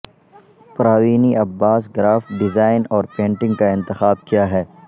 پراوینی Abbas graphic design اور painting کا انتخاب کیا ہے